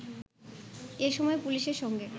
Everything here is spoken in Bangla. এসময় পুলিশের সঙ্গে